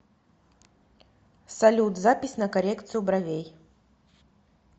салют запись на коррекцию бровей